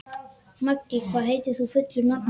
Maggi, hvað heitir þú fullu nafni?